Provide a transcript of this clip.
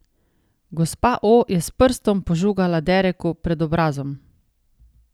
Gospa O je s prstom požugala Dereku pred obrazom.